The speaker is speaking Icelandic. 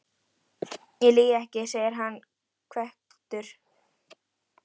Ég lýg ekki, segir hann hvekktur.